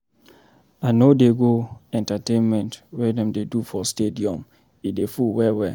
I no dey go entertainment wey dem dey do for stadium, e dey full well-well.